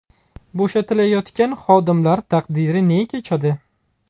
Bo‘shatilayotgan xodimlar taqdiri ne kechadi?